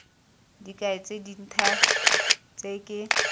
dikai tse dintha tse ke